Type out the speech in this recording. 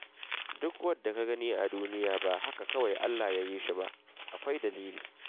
Duk wanda ka gani a duniya ba haka kawai Allah Ya yi shi ba, akwai dalili.